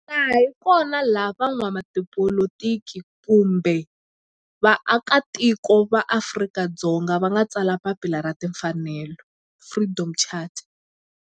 Laha hi kona la van'watipolitiki kun'we ni vaaka tiko va Afrika-Dzonga va nga tsala papila ra timfanelo, Freedom Charter.